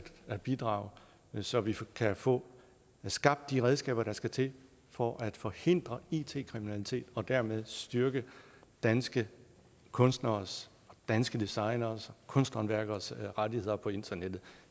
at bidrage så vi kan få skabt de redskaber der skal til for at forhindre it kriminalitet og dermed styrke danske kunstneres danske designeres kunsthåndværkeres rettigheder på internettet